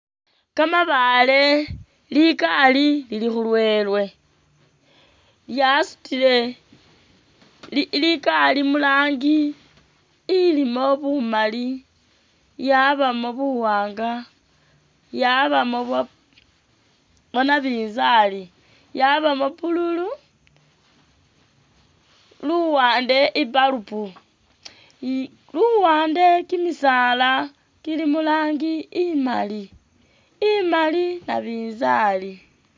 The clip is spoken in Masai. Kamabaale, ligali Lili khulwele lyasutile li ligali murangi ilimo bumali lyabamo buwaanga lyabamo bwa nabinzali lyabamo pululu luwande i'dalubu luwande kimisaala kili murangi imaali, imaali nabinzali